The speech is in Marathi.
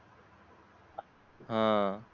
हा